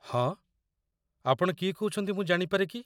ହଁ, ଆପଣ କିଏ କହୁଛନ୍ତି ମୁଁ ଜାଣିପାରେ କି?